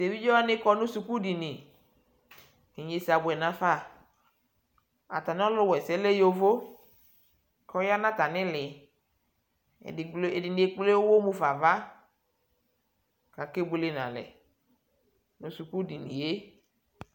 tɛ ɛvidzɛ wani kɔnʋ skʋl dini kʋ inyɛnsɛ abʋɛ nʋ aƒa, atani ɔlʋ wɛsɛ lɛ yɔvɔ kʋ ɔyanʋ atani ili, ɛdini ɛkplɛ ʋwɔ haƒa aɣa kʋ akɛ bʋɛlɛ nʋ alɛ nʋ skʋl diniɛ